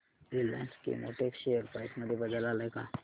Reliance Chemotex share price मध्ये बदल आलाय का